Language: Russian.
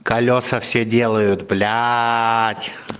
колеса всё делают блять